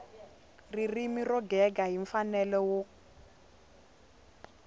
ririmi ro gega hi mfanelo